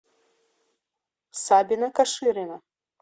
сабина каширина